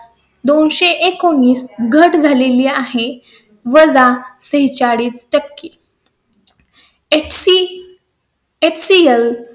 घट झालेली आहे वजा ते चाळीस टक्के . HCHCL